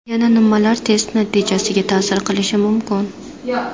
Yana nimalar test natijasiga ta’sir qilishi mumkin?